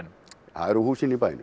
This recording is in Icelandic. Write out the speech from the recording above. það eru húsin í bænum